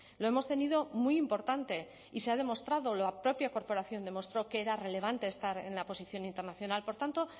lo hemos tenido muy importante y se ha demostrado la propia corporación demostró que era relevante estar en la posición internacional por tanto